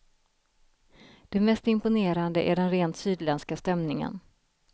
Det mest imponerande är den rent sydländska stämningen.